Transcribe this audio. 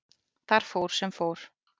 Þar fór sem fór.